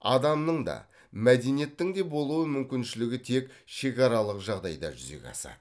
адамның да мәдениеттің де болу мүмкіншілігі тек шекаралық жағдайда жүзеге асады